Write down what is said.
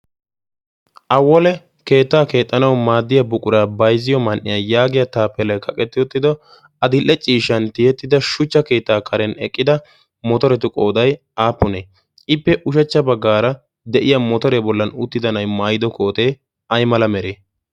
awole keettaa keexxanawu maaddiya buquraa bayzziyo man'iya yaagiya taapelae kaqetti uttido a dil'e ciishan tiyettida shuchcha keettaa karen eqqida motoretu qoodai aappunee ippe ushachcha baggaara de'iya motoree bollan uttida nay maayido kootee ay mala mere?